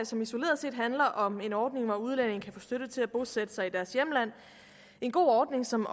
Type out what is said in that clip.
som isoleret set handler om en ordning hvor udlændinge kan få støtte til at bosætte sig i deres hjemland en god ordning som